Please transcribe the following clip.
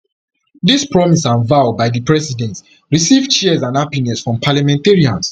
dis promise and vow by di president receive cheers and happiness from parliamentarians